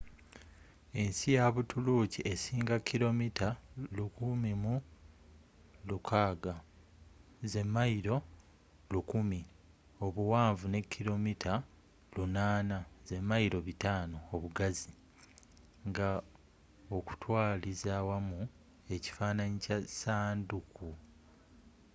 ensi ya buturuuki esinga kilomita 1,600 1,000 mi obuwanvu ne kilomita 800 500 mi obugazi nga okutwaliza awamu ekifaananyi kya ssanduuku